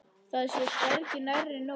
Það sé hvergi nærri nóg.